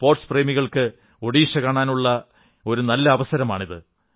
sports പ്രേമികൾക്ക് ഒഡിഷ കാണാനുള്ള ഒരു നല്ല അവസരമാണിത്